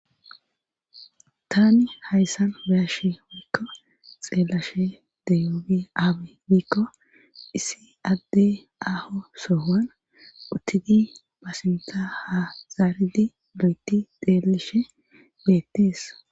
Tani hayssan beyashe woykko xeellashe deyoobi ayibe giko issi adde aho soohoan uttidi pasinta ha zaaridi lo7eti xeelishe beettees